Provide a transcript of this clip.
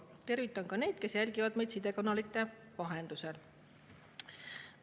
Tervitan ka neid, kes jälgivad meid sidekanalite vahendusel.